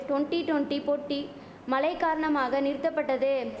twenty twenty போட்டி மழை காரணமாக நிறுத்தபட்டது